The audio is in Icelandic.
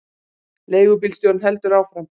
Leigubílstjórinn heldur áfram.